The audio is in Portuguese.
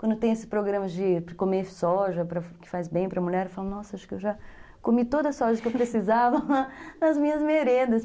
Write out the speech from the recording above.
Quando tem esse programa de de comer soja, que faz bem para a mulher, eu falo, nossa, acho que eu já comi toda a soja que eu precisava nas minhas merendas